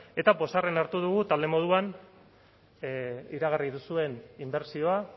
eta pozarren hartu dugu talde moduan iragarri duzuen inbertsioa